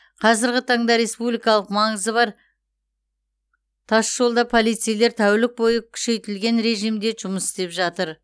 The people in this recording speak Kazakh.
қазіргі таңда республикалық маңызы бар тасжолда полицейлер тәулік бойы күшейтілген режимде жұмыс істеп жатыр